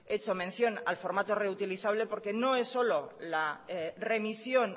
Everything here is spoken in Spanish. hecho mención al formato reutilizable porque no es solo la remisión